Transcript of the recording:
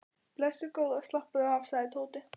Blessuð góða slappaðu af sagði Tóti.